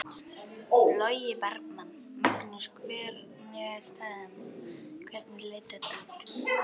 Logi Bergmann: Magnús hvernig er staðan, hvernig leit þetta út?